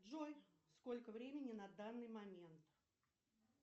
джой сколько времени на данный момент